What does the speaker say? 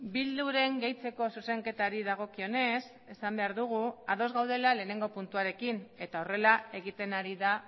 bilduren gehitzeko zuzenketari dagokionez esan behar dugu ados gaudela lehenengo puntuarekin eta horrela egiten ari da